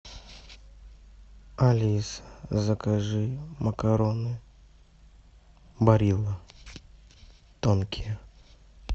алиса закажи макароны барилла тонкие